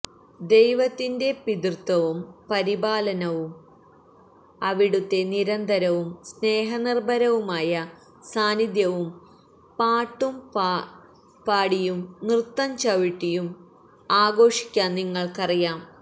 ദൈവത്തിൻറെ പിതൃത്വവും പരിപാലനയും അവിടുത്തെ നിരന്തരവും സ്നേഹനിർഭരവുമായ സാന്നിധ്യവും പാട്ടുപാടിയും നൃത്തംചവിട്ടിയും ആഘോഷിക്കാൻ നിങ്ങൾക്കറിയാം